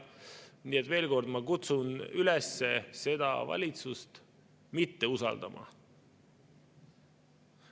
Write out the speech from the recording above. Nii et veel kord: ma kutsun üles seda valitsust mitte usaldama.